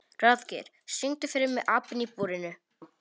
Ráðgeir, syngdu fyrir mig „Apinn í búrinu“.